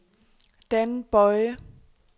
Dan Boye